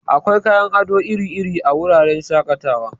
Akwai kayan ado iri-iri a wuraren shaƙatawa.